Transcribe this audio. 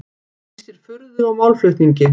Lýsir furðu á málflutningi